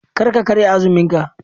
Kar ka karya azumin ka.